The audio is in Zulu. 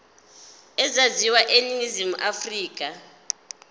ezaziwayo eningizimu afrika